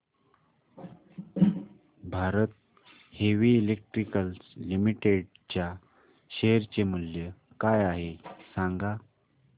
Bharat Heavy Electricals Limited च्या share चे मूल्य काय आहे सांगा